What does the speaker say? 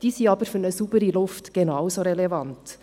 Diese sind aber für eine saubere Luft genauso relevant.